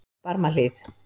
Barmahlíð